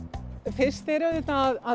fyrst er auðvitað